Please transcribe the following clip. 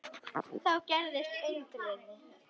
Þá gerðist undrið.